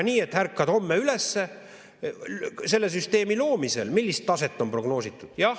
Millist taset selle süsteemi loomisel on prognoositud?